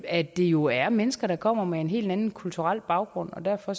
at det jo er mennesker der kommer med en helt anden kulturel baggrund derfor